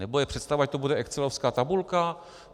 Nebo je představa, že to bude excelovská tabulka?